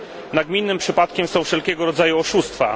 Nagminnym przypadkiem są wszelkiego rodzaju oszustwa.